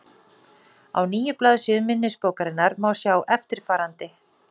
Á níu blaðsíðum minnisbókarinnar má sjá eftirfarandi: